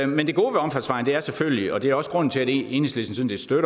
men det gode ved omfartsvejen er selvfølgelig og det er også grunden til at enhedslisten